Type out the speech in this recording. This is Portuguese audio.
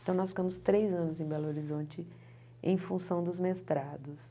Então nós ficamos três anos em Belo Horizonte em função dos mestrados.